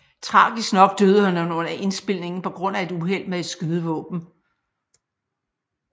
Tragisk nok døde han under indspilningen på grund af et uheld med et skydevåben